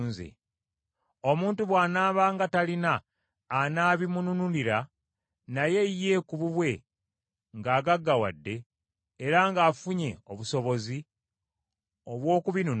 Omuntu bw’anaabanga talina anaabimununulira, naye ye ku bubwe ng’agaggawadde, era ng’afunye obusobozi obw’okubinunula,